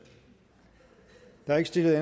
der er ikke stillet